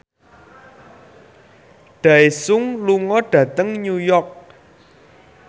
Daesung lunga dhateng New York